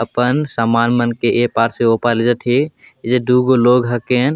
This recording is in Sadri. अपन समान मन के ये पार से ओ पार लेजथे ये जगे दु गो हकेन।